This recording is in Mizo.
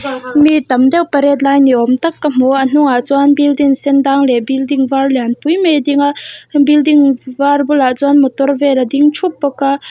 mi tam deuh pariat lai ni awm tak ka hmu a a hnungah chuan building sen dang leh building var lian pui mai a ding a building var bulah chuan motor vel a ding thup bawk a.